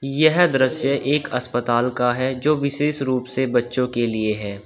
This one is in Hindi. यह दृश्य एक अस्पताल का है जो विशेष रूप से बच्चो के लिए है।